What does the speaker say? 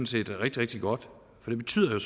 set rigtig rigtig godt for det betyder jo